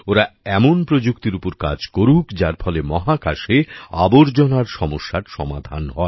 ওরা এমন প্রযুক্তির ওপর কাজ করুক যার ফলে মহাকাশে আবর্জনার সমস্যার সমাধান হয়